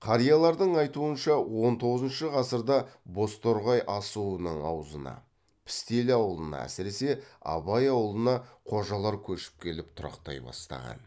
қариялардың айтуынша он тоғызыншы ғасырда бозторғай асуының аузына пістелі ауылына әсіресе абай ауылына қожалар көшіп келіп тұрақтай бастаған